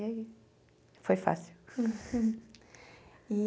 E aí, foi fácil.